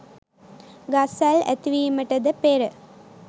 ගස් වැල් ඇතිවීමටද පෙර